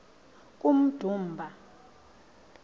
kummdumba